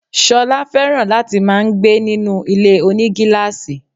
Sola fẹ̀ràn láti máà ń gbé ninú ilé-onígílàsì